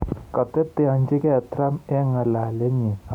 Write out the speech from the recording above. Koteteanchigei Trump eng ng'alalenyi akobo Sweden